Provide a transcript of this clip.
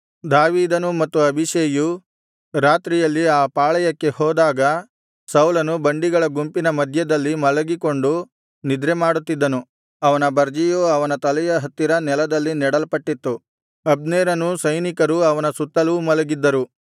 ದಾವೀದನೂ ಮತ್ತು ಅಬೀಷೈಯೂ ರಾತ್ರಿಯಲ್ಲಿ ಆ ಪಾಳೆಯಕ್ಕೆ ಹೋದಾಗ ಸೌಲನು ಬಂಡಿಗಳ ಗುಂಪಿನ ಮಧ್ಯದಲ್ಲಿ ಮಲಗಿಕೊಂಡು ನಿದ್ರೆಮಾಡುತ್ತಿದ್ದನು ಅವನ ಬರ್ಜಿಯು ಅವನ ತಲೆಯ ಹತ್ತಿರ ನೆಲದಲ್ಲಿ ನೆಡಲ್ಪಟ್ಟಿತ್ತು ಅಬ್ನೇರನೂ ಸೈನಿಕರೂ ಅವನ ಸುತ್ತಲೂ ಮಲಗಿದ್ದರು